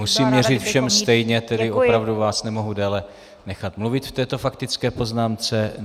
Musím měřit všem stejně, tedy opravdu vás nemohu déle nechat mluvit v této faktické poznámce.